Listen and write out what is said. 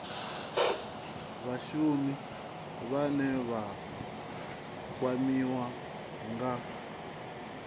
vhashumi vhane vha kwamiwa nga